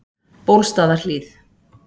Bólstaðarhlíð